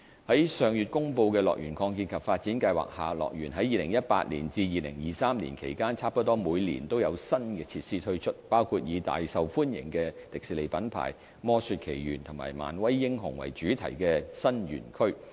在上月公布的樂園擴建及發展計劃下，樂園在2018年至2023年期間差不多每年都有新設施推出，包括以大受歡迎的迪士尼品牌"魔雪奇緣"和"漫威英雄"為主題的新園區。